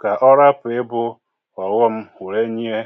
kà ọhapụ̀ ị bụ̇ ọ̀ghọm were nye.